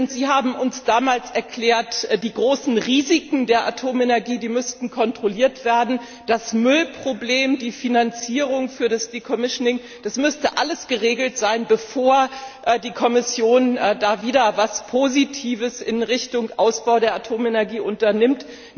Sie haben uns damals erklärt, die großen Risiken der Atomenergie müssten kontrolliert werden, das Müllproblem, die Finanzierung für das Decommissioning, das müsste alles geregelt sein, bevor die Kommission wieder etwas Positives in Richtung Ausbau der Atomenergie unternimmt.